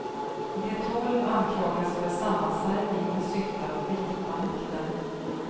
De tolv anklagas för sammansvärjning med syfte att gripa makten.